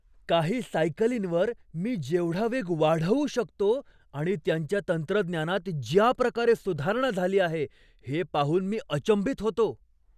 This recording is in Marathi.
काही सायकलींवर मी जेवढा वेग वाढवू शकतो आणि त्यांच्या तंत्रज्ञानात ज्या प्रकारे सुधारणा झाली आहे हे पाहून मी अचंबित होतो.